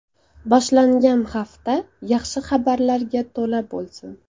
Boshlangan hafta yaxshi xabarlarga to‘la bo‘lsin.